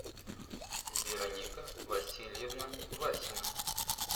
вероника васильевна васина